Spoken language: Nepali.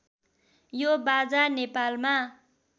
यो बाजा नेपालमा